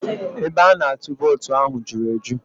Ebe a na-atụ vootu ahụ juru eju